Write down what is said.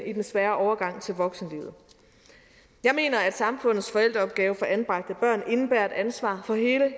i den svære overgang til voksenlivet jeg mener at samfundets forældreopgave for anbragte børn indebærer et ansvar for hele